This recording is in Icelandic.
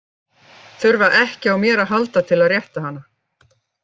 Þurfa ekki á mér að halda til að rétta hana.